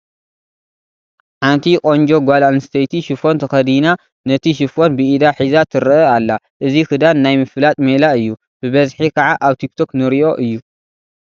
ሓንቲ ቆንጆ ጓል ኣንስተይቲ ሽፎን ተኸዳና ነቲ ዝፎን ብኢዳ ሒዛ ትርአ ኣላ፡፡ እዚ ክዳን ናይ ምፍላጥ ሜላ እዩ፡፡ ብብዝሒ ከዓ ኣብ ቲክ ቶክ ንሪኦ እዩ፡፡